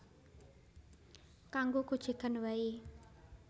Kanggo gojegan wae